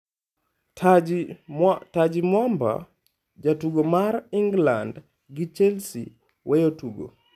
Taji Mwamba: Jatugo mar England gi Chelsea weyo tugo